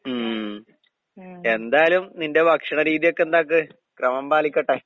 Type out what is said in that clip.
ഉം. എന്തായാലും നിന്റെ ഭക്ഷണ രീതിയൊക്കെ എന്താക്ക് ക്രമം പാലിക്കട്ടെ.